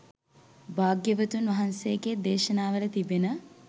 භාග්‍යවතුන් වහන්සේගේ දේශනාවල තිබෙන